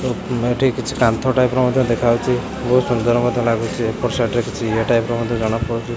ଏଠି କିଛି କାନ୍ଥ ଟାଇପ୍ ର ମଧ୍ୟ ଦେଖାଯାଉଛି ବହୁତ୍ ସୁନ୍ଦର୍ ମଧ୍ୟ ଲାଗୁଛି ଏପଟ ସାଇଟ୍ ରେ କିଛି ଇଏ ଟାଇପ୍ ର ଜଣାପଡ଼ୁଛି।